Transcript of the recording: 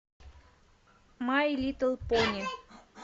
май литл пони